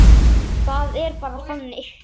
Það er bara þannig.